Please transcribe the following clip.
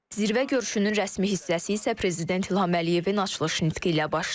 Zirvə görüşünün rəsmi hissəsi isə Prezident İlham Əliyevin açılış nitqi ilə başlayır.